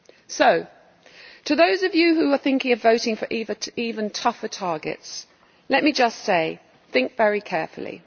So, to those of you who are thinking of voting for even tougher targets, let me just say think very carefully.